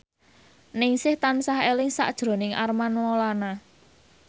Ningsih tansah eling sakjroning Armand Maulana